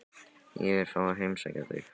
Ég vil fá að heimsækja þig.